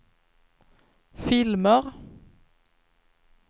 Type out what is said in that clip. filmer